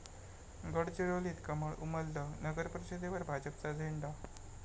गडचिरोलीत कमळ उमललं, नगरपरिषदेवर भाजपचा झेंडा